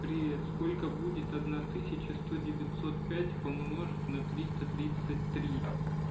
привет сколько будет одна тысяча сто девятьсот пять умножить на триста тридцать три